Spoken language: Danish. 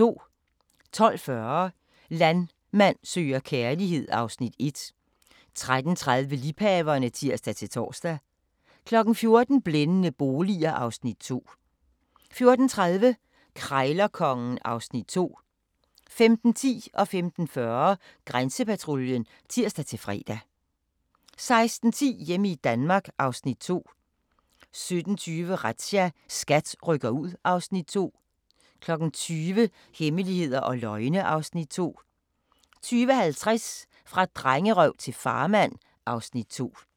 12:40: Landmand søger kærlighed (Afs. 1) 13:30: Liebhaverne (tir-tor) 14:00: Blændende boliger (Afs. 2) 14:30: Krejlerkongen (Afs. 2) 15:10: Grænsepatruljen (tir-fre) 15:40: Grænsepatruljen (tir-fre) 16:10: Hjemme i Danmark (Afs. 2) 17:20: Razzia – SKAT rykker ud (Afs. 2) 20:00: Hemmeligheder og løgne (Afs. 2) 20:50: Fra drengerøv til farmand (Afs. 2)